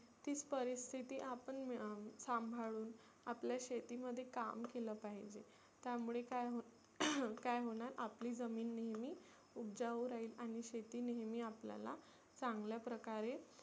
ती परिस्थिती आपण सांभाळुन आपल्या शेतीमध्ये काम केलं पाहीजे. त्यामुळे काय काय होणार आपली जमिन नेहमी उबजाऊ राहील आणि शेती नेहमी आपल्याला चांगल्या प्रकारे